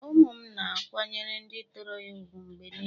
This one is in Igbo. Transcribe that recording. Ụmụ m na-akwanyere ndị tọrọ ha ùgwù mgbe niile.